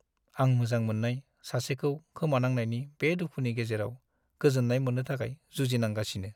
आं मोजां मोननाय सासेखौ खोमानांनायनि बे दुखुनि गेजेराव गोजोन्नाय मोन्नो थाखाय जुजिनांगासिनो।